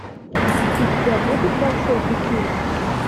у тебя будет большой фитиль